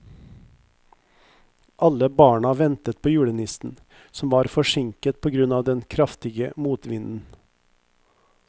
Alle barna ventet på julenissen, som var forsinket på grunn av den kraftige motvinden.